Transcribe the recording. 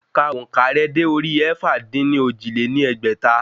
Ka òǹkà rẹ dé orí ẹ̀fà-dín-ní-ojì lé ní ẹgbẹ́ta